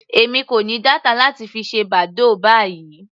Èmi kò ní data láti fi ṣe badoo báyìí.